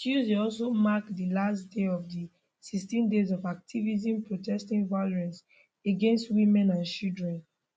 tuesday also mark di last day of di 16 days of activism protesting violence against women and children